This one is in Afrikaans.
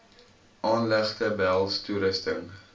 aanlegte behels toerusting